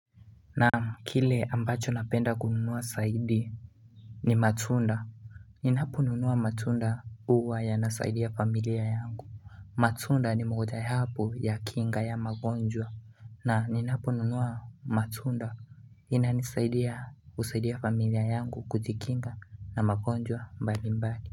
Na kile ambacho napenda kununua zaidi ni matunda ninaponunua matunda huwa yanasaidia familia yangu matunda ni mojawapo ya kinga ya magonjwa na ninaponunua matunda inanisaidia husaidia familia yangu kujikinga na magonjwa mbalimbali.